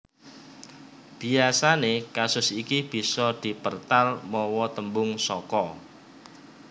Biasané kasus iki bisa dipertal mawa tembung saka